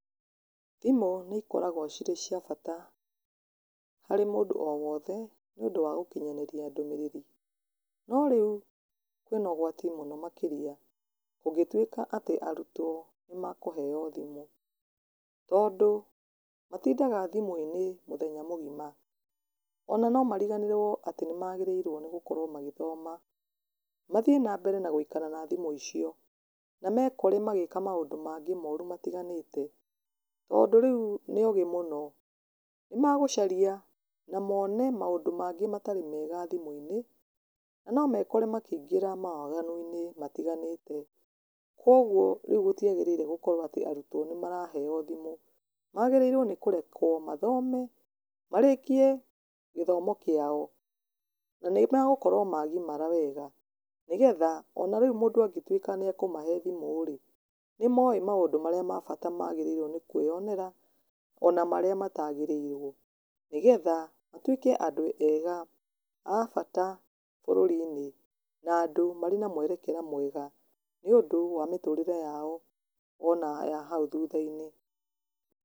Thimũ nĩ ikoragwo cĩrĩ cia bata harĩ mũndu o wothe nĩũndũ wa gũkinyanĩria ndũmĩrĩri no rĩu kwĩna ũgwati mũno makĩria kũngĩtuĩka atĩ arutwo nĩ mekũheo thimũ. Tondũ matindaga thimũ-inĩ mũthenya mũgima ona nĩ mariganagĩrwo atĩ nĩ maagĩrĩirwo nĩ gũkorwo magĩthoma, mathiĩ nambere na gũikara na thimũ icio na mekore magĩka maũndũ maingĩ moru matiganĩte. Tondũ rĩu nĩ ogĩ mũno, nĩ magũcaria na mone maũndũ mangĩ matarĩ mega thimũ-inĩ, na no mekore makĩingĩra mawaganu-inĩ matiganĩte. Kwoguo rĩu gũtiagĩrĩire gũkorwo atĩ arutwo nĩ maraheo thimũ, magĩrĩirwo nĩ kũrekwo mathome marĩkie gĩthomo kĩao na nĩmegũkorwo magimara wega. Nĩgetha ona rĩu mũndũ angĩtuĩka nĩ ekũmahe thimũ rĩ, nĩ moĩ maũndũ marĩa ma bata magĩrĩirwo nĩ kwĩonera ona marĩa matagĩrĩirwo. Nĩgetha matuĩke andũ ega a bata bũrũri-inĩ, na andũ marĩ na mwerekera mwega, nĩũndũ wa mĩtũrĩre yao ona ya hau thutha-inĩ.